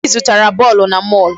Obi zụtara bọọlụ na mall.